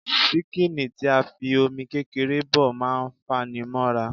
ṣíkìnì tí a fi Omi kékeré bọ̀ má ń fanimóra